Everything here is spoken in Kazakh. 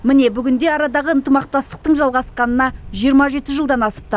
міне бүгінде арадағы ынтымақтастықтың жалғасқанына жиырма жеті жылдан асыпты